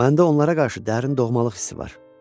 Məndə onlara qarşı dərin doğmalıq hissi var.